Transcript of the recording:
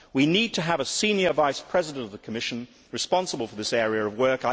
We need to have a senior Vice President of the Commission responsible for this area of work.